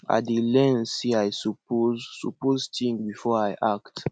i dey learn say i suppose suppose think before i act